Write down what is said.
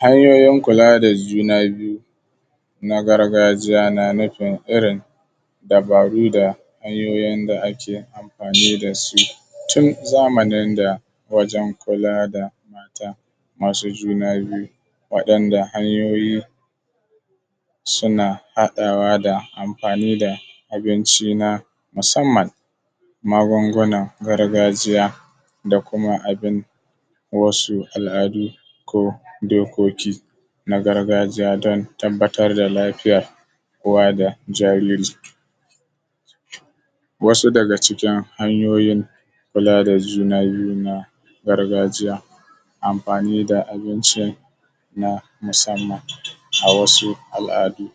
hanyoyin kula da juna biyu na gargajiya na nufin irin dabaru da hanyoyin da ake amfani da su tun zamanin da wajen kula da mata masu juna biyu waɗanda hanyoyin suna haɗawa da amfani da abinci na musamman magungunan gargajiya da kuma abin wasu al’adu ko dokoki na gargajiya don tabbatar da lafiyar uwa da jariri wasu daga cikin hanyoyin kula da juna biyu na gargajiya amfani da abinci na musamman a wasu al’adu